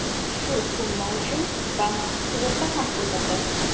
Shu summa uchun bank sug‘urta ham qildirdi.